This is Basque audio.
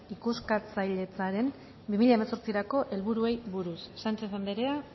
ikuskatzailetzaren bi mila hemezortzirako helburuei buruz sánchez anderea